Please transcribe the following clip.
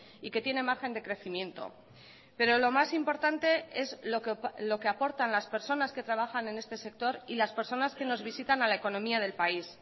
y que tiene margen de crecimiento pero lo más importante es lo que aportan las personas que trabajan en este sector y las personas que nos visitan a la economía del país